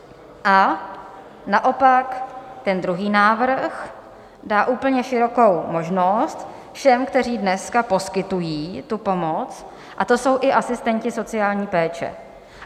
A naopak ten druhý návrh dá úplně širokou možnost všem, kteří dneska poskytují tu pomoc, a to jsou i asistenti sociální péče.